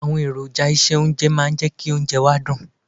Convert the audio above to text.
Àwọn èròjà ìse oúnjẹ máa ń jẹ́ kí oúnjẹ wa dùn.